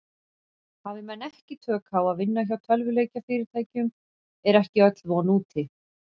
Hafi menn ekki tök á að vinna hjá tölvuleikjafyrirtækjum er ekki öll von úti.